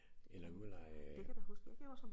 Eller ud at lege øh